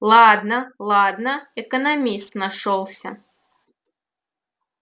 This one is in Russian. ладно ладно экономист нашёлся